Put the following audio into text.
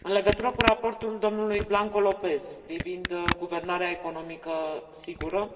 În legătură cu raportul domnului Blanco López privind guvernanța economică sigură,